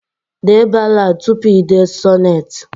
Dee ballad tupu i dee sonnet